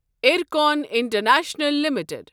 IRCON international limited